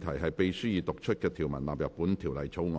題是：秘書已讀出的條文納入本條例草案。